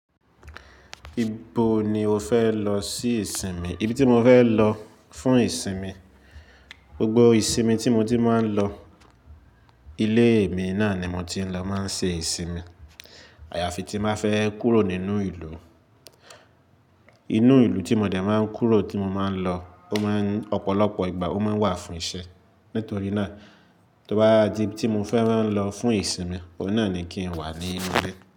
Ibo ni o fẹ lọ sí ìsinmi? Ibi tí mo fẹ lọ fún ìsinmi, gbogbo ìsinmi tí mo ti máa ń lọ, ilé mi náà ni mo ti ń lọ máa ń ṣe ìsinmi. Àyàfi tí má fẹ́ kúrò nínú ìlú. Inú ìlú tí mo dẹ̀ máa ń kúrò tí mo máa ń lọ, ó máa ń ọ̀pọ̀lọpọ̀ ìgbà ó máa ń wà fún ìṣe. Nítorí náà, tó bá di tí mo fẹ́ran lọ fún ìsinmi, ọ̀na ni kí n wà ní ilé.